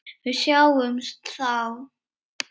Við sjáumst þá!